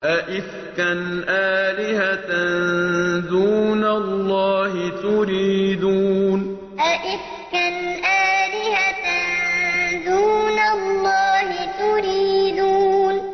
أَئِفْكًا آلِهَةً دُونَ اللَّهِ تُرِيدُونَ أَئِفْكًا آلِهَةً دُونَ اللَّهِ تُرِيدُونَ